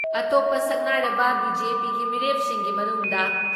ꯑꯇꯣꯞꯄ ꯁꯛꯅꯥꯏꯔꯕ ꯕꯤ.ꯖꯦ.ꯄꯤꯒꯤ ꯃꯤꯔꯦꯞꯁꯤꯡꯒꯤ ꯃꯅꯨꯡꯗ